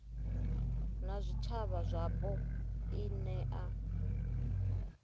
na zwitshavha zwapo i nea